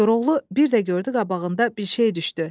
Koroğlu bir də gördü qabağında bir şey düşdü.